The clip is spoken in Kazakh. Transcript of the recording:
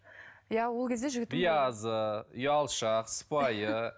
биязы ұялшақ сыпайы